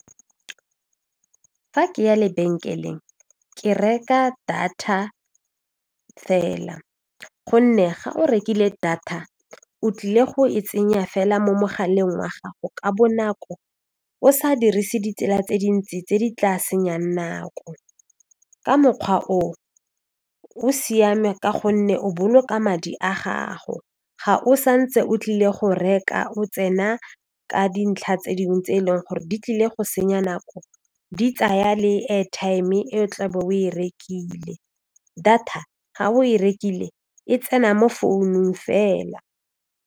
Fa ke ya lebenkeleng ke reka data fela gonne ga o rekile data o tlile go e tsenya fela mo mogaleng wa gago ka bonako o sa dirise ditsela tse dintsi tse di tla senyang nako ka mokgwa o o siame ka gonne o boloka madi a gago ga o sa ntse o tlile go reka o tsena ka dintlha tse dingwe tse e leng gore di tlile go senya nako di tsaya le airtime e o tla beng o e rekile data ga o e rekile e tsena mo founung fela.